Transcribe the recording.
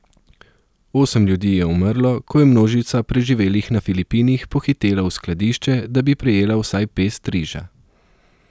Osem ljudi je umrlo, ko je množica preživelih na Filipinih pohitela v skladišče, da bi prejela vsaj pest riža.